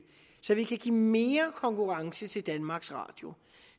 så vi kan give mere konkurrence til danmarks radio